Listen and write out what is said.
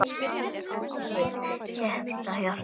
Ég kveð þig heitu hjarta.